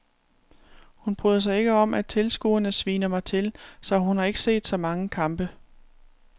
Hun bryder sig ikke om at tilskuerne sviner mig til, så hun har ikke set så mange kampe.